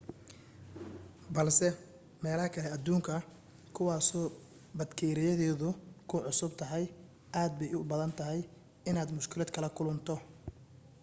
balse meelaha kale adduunka kuwaasoo batkeeriyadeedu kugu cusub tahay aad bay u badan tahay inaad mushkilad kala kulanto